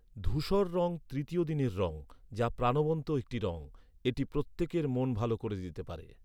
ধূসর রঙ তৃতীয় দিনের রঙ, যা প্রাণবন্ত একটি রঙ। এটি প্রত্যেকের মন ভালো করে দিতে পারে।